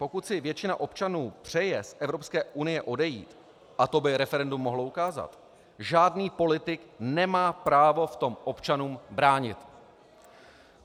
Pokud si většina občanů přeje z Evropské unie odejít, a to by referendum mohlo ukázat, žádný politik nemá právo v tom občanům bránit.